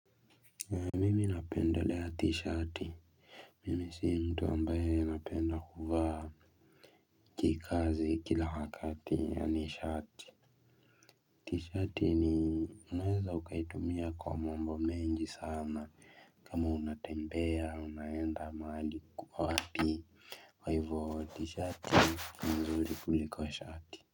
Ani napenda lea t-shirt. Mimi sii mtu ambaye napenda kuvaa. Kikazi kila wakati ani shati. T-shirt ni unweza ukaitumia kwa mambo menji sana. Kama unatembea, unayenda mahali kuwa hati. Waivoti shati ulipuliko shati.